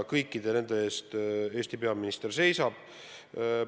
Kõikide nende eest Eesti peaminister seisab.